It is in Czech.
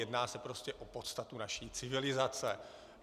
Jedná se prostě o podstatu naší civilizace.